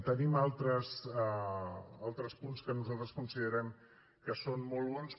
tenim altres punts que nosaltres considerem que són molt bons